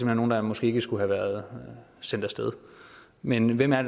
er nogle der måske ikke skulle have været sendt af sted men hvem er